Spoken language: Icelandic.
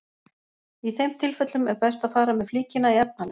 Í þeim tilfellum er best að fara með flíkina í efnalaug.